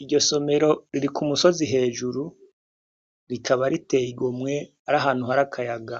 Iryosomero riri k'umusozi hejuru, rikaba riteye igomwe, ar'ahantu har'akayaga.